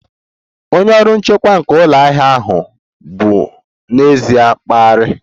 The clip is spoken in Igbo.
Onye ọrụ nchekwa nke ụlọ ahịa ahụ bụ n'ezie mkparị